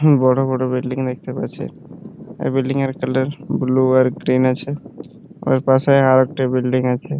বড় বড় বিল্ডিং দেখতে পাচ্ছি | এই বিল্ডিং -এর কালার বুলু আর গ্রীন আছে | ওর পাশে আর একটা বিল্ডিং আছে।